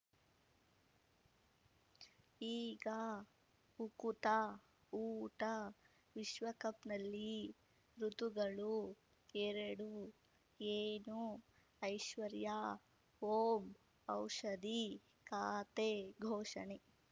ಈಗ ಉಕುತ ಊಟ ವಿಶ್ವಕಪ್‌ನಲ್ಲಿ ಋತುಗಳು ಎರಡು ಏನು ಐಶ್ವರ್ಯಾ ಓಂ ಔಷಧಿ ಖಾತೆ ಘೋಷಣೆ